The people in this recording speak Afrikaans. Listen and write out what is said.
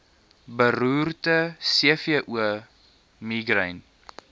beroerte cvo migraine